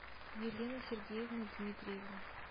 елена сергеевна дмитриева